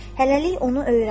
Hələlik onu öyrən.